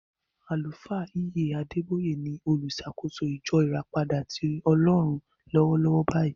Àlùfáà E.A Adeboye ni oluṣàkóso ìjọ ìràpadà tí Ọlọ́run lọ́wọ́lọ́wọ́ báyìí.